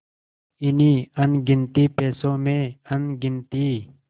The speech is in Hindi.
इन्हीं अनगिनती पैसों में अनगिनती